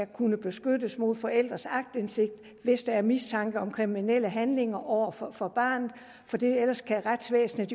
kunne beskyttes mod forældres aktindsigt hvis der er mistanke om kriminelle handlinger over for for barnet retsvæsenet